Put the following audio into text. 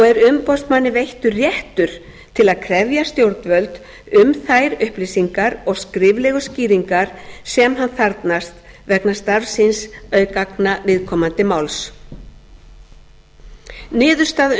er umboðsmanni veittur réttur til að krefja stjórnvöld um þær upplýsingar og skriflegu skýringar sem hann þarfnast vegna starfs síns auk gagna viðkomandi máls niðurstaða